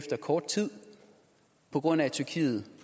af kort tid på grund af at tyrkiet